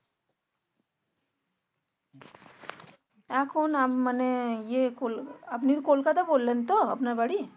এখন মানে য়ে আপনি কলকাতা বললেন তো আপনার বাড়ি